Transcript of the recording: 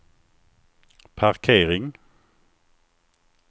parkering